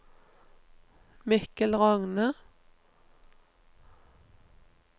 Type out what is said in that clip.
Mikkel Rogne